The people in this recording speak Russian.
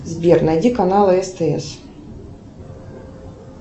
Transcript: сбер найди канал стс